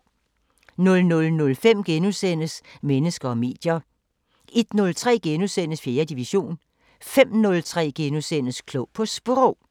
00:05: Mennesker og medier * 01:03: 4. division * 05:03: Klog på Sprog *